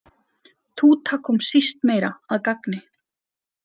Túta kom síst meira að gagni.